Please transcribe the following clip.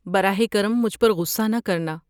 براہ کرم مجھ پر غصہ نہ کرنا۔